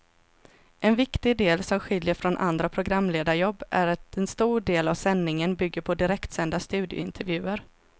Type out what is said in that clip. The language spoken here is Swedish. En viktig del som skiljer från andra programledarjobb är att en stor del av sändningen bygger på direktsända studiointervjuer.